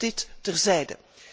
Maar dit terzijde.